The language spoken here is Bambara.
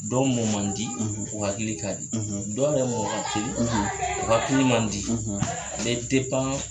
Dɔw mɔ man di u hakili ka di , dɔw yɛeɛ mɔ ka telin u hakili man di . O be